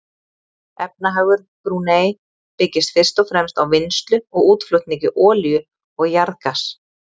Efnahagur Brúnei byggist fyrst og fremst á vinnslu og útflutningi olíu og jarðgass.